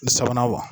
Sabanan wa